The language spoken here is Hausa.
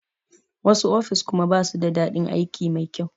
Wasu ofis kuma basu da daɗin aiki mai kyau.